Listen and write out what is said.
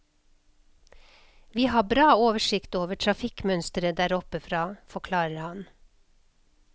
Vi har bra oversikt over trafikkmønsteret der oppe fra, forklarer han.